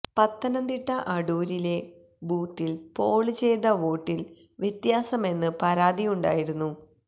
പത്തനംതിട്ട അടൂരിലെ ബൂത്തില് പോള് ചെയ്ത വോട്ടില് വ്യത്യാസമെന്ന് പരാതിയുണ്ടായിരുന്നു